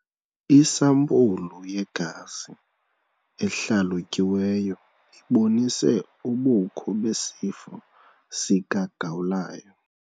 Isampulu yegazi ehlalutyiweyo ibonise ubukho besifo sikagawulayo.